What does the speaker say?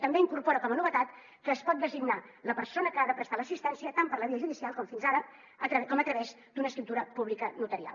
també incorpora com a novetat que es pot designar la persona que ha de prestar l’assistència tant per la via judicial com fins ara com a través d’una escriptura pública notarial